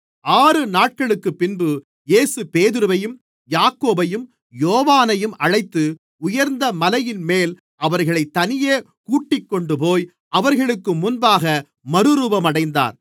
ஆறு நாட்களுக்குப்பின்பு இயேசு பேதுருவையும் யாக்கோபையும் யோவானையும் அழைத்து உயர்ந்த மலையின்மேல் அவர்களைத் தனியே கூட்டிக்கொண்டுபோய் அவர்களுக்கு முன்பாக மறுரூபமடைந்தார்